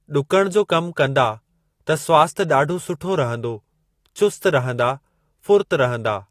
ॾुकण जो कमु कंदा त स्वास्थय ॾाढो सुठो रहंदो, चुस्त रहंदा, फुरत रहंदा।